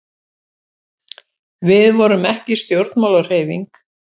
við vorum ekki stjórnmálahreyfing